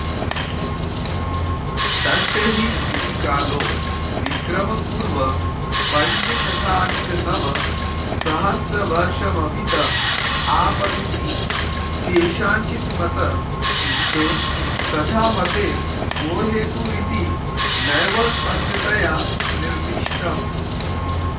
तस्य हि स्थितिकालो विक्रमपूर्वपञ्चशताधिकनवसहस्रवर्षमभित आपततीति केषाञ्चिन्मत किन्तु तथामते को हेतुरिति नैव स्पष्टतया निर्दिष्टम्